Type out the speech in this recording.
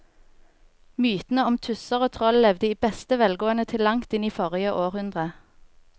Mytene om tusser og troll levde i beste velgående til langt inn i forrige århundre.